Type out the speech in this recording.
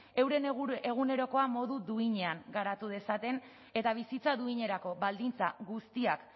euren egunerokoa modu duinean garatu dezaten eta bizitza duinerako baldintza guztiak